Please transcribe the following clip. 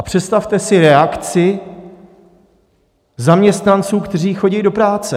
A představte si reakci zaměstnanců, kteří chodí do práce.